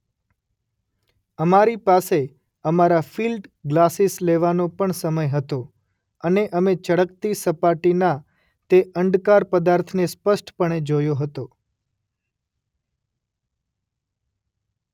અમારી પાસે અમારા ફિલ્ડ ગ્લાસીસ લેવાનો પણ સમય હતો અને અમે ચળકતી સપાટીના તે અંડકાર પદાર્થને સ્પષ્ટપણે જોયો હતો.